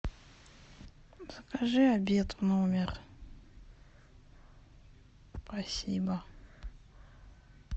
закажи обед в номер спасибо